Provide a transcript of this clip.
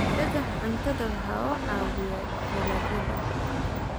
Dhagaxa cuntadu waxa uu caawiyaa dalagyada.